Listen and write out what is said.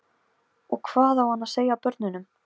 Og hvað á hann að segja börnunum?